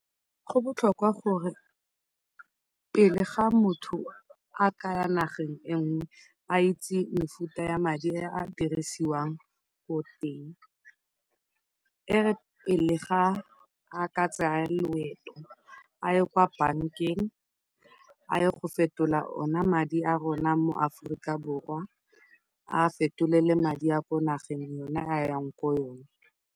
Go botlhokwa gore pele fa motho a ka ya nageng e nngwe a itse mefuta ya madi a a dirisiwang ko teng. E re pele fa a ka tsaya loeto, a ye kwa bankeng a ye go fetola ona madi a rona mo Aforika Borwa, a a fetolele madi a ko nageng yone a yang ko go yone.